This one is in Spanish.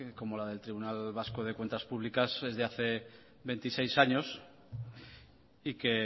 como la del tribunal vasco de cuentas públicas desde hace veintiséis años y que